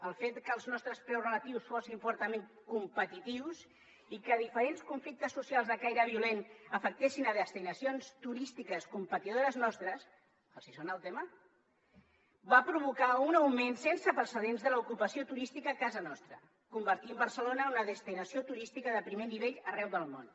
el fet que els nostres preus relatius fossin fortament competitius i que diferents conflictes socials de caire violent afectessin destinacions turístiques competidores nostres els sona el tema va provocar un augment sense precedents de l’ocupació turística a casa nostra i va convertir barcelona en una destinació turística de primer nivell arreu del món